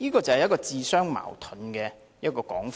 這便是自相矛盾的說法。